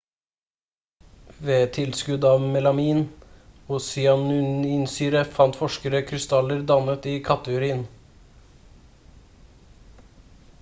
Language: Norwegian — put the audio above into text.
ved tilskudd av melamin og cyanurinsyre fant forskerne krystaller dannet i katteurin